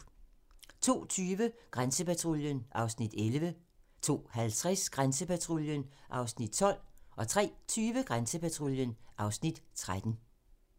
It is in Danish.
02:20: Grænsepatruljen (Afs. 11) 02:50: Grænsepatruljen (Afs. 12) 03:20: Grænsepatruljen (Afs. 13)